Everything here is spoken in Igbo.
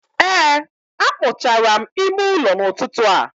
Ee a kpochara m ime ụlọ n'ụtụtụ a.